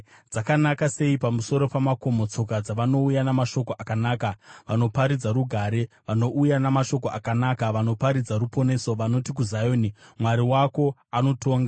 Dzakanaka sei pamusoro pamakomo tsoka dzavanouya namashoko akanaka, vanoparidza rugare, vanouya namashoko akanaka, vanoparidza ruponeso, vanoti kuZioni, “Mwari wako anotonga!”